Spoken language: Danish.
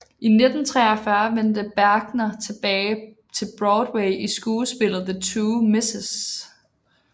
I 1943 vendte Bergner tilbage til Broadway i skuespillet The Two Mrs